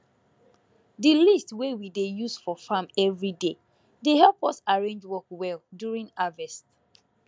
di list wey we dey use for farm every day dey help us arrange work well during harvest